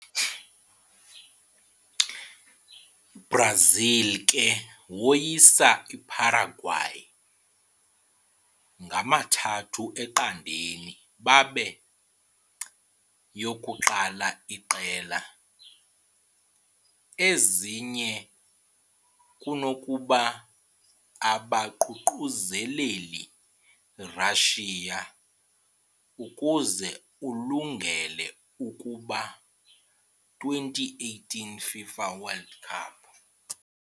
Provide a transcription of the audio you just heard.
- Brazil ke woyisa Paraguay 3-0 babe yokuqala iqela, ezinye kunokuba abaququzeleli Russia, ukuze ulungele kuba 2018 FIFA World Cup.